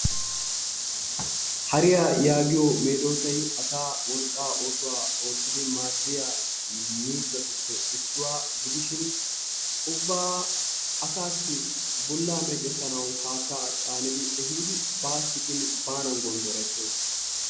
Hariyaa yaagiyo meedosay asaa wolqqaa oosuwa oottidi maadiya miizzatuppe issuwa gidishshin ubba asaas bollaa meccetanawu haattaa caanidi ehiidi baasi gin baanan gondorettees.